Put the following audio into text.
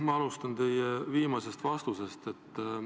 Ma alustan teie viimasest vastusest.